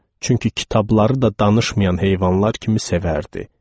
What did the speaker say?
Çünki kitabları da danışmayan heyvanlar kimi sevərdi.